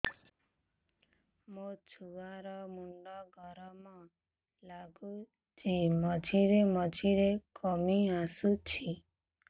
ମୋ ଛୁଆ ର ମୁଣ୍ଡ ଗରମ ଲାଗୁଚି ମଝିରେ ମଝିରେ କମ୍ପ ଆସୁଛି